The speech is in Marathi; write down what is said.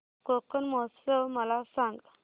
कोकण महोत्सव मला सांग